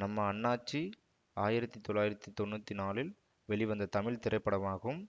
நம்ம அண்ணாச்சி ஆயிரத்தி தொள்ளாயிரத்தி தொன்னூற்தி நாள்ளில் வெளிவந்த தமிழ் திரைப்படமாகும்